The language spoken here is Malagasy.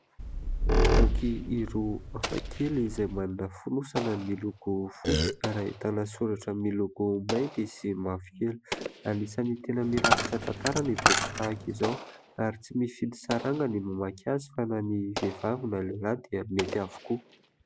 Boky roa hafakely izay manana fonosana miloko fotsy ary ahitana soratra miloko mainty sy mavokely. Anisan'ny tena mirakitra tantara ny boky tahaka izao ary tsy mifidy saranga ny mamaky azy fa na ny vehivavy na lehilahy dia mety avokoa.